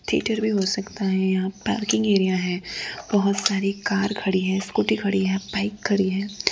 हो सकता है यहां पार्किंग एरिया है बहुत सारी कार खड़ी है स्कूटी खड़ी है बाइक खड़ी है।